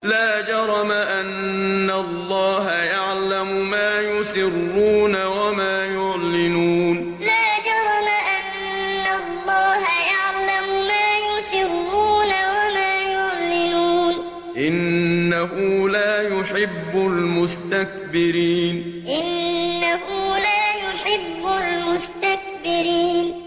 لَا جَرَمَ أَنَّ اللَّهَ يَعْلَمُ مَا يُسِرُّونَ وَمَا يُعْلِنُونَ ۚ إِنَّهُ لَا يُحِبُّ الْمُسْتَكْبِرِينَ لَا جَرَمَ أَنَّ اللَّهَ يَعْلَمُ مَا يُسِرُّونَ وَمَا يُعْلِنُونَ ۚ إِنَّهُ لَا يُحِبُّ الْمُسْتَكْبِرِينَ